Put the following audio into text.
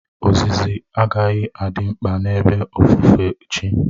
Ozizi agaghị adị mkpa n'ebe ofufe chi